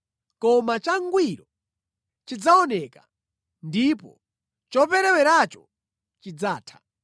Koma changwiro chikadzaoneka ndipo chopereweracho chidzatha.